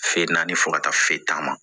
Fɛn naani fo ka taa se taama ma